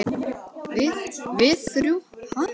Við- við þrjú, ha?